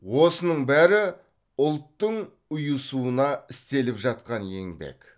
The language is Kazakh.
осының бәрі ұлттың ұйысуына істеліп жатқан еңбек